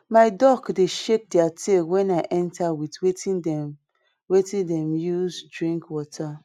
my duck dey shake their tail wen i enter with wetin dem wetin dem dey use drink water